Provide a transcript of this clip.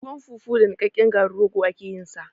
Tuwon fufu da niƙaƙƙen garin rogo ake yin sa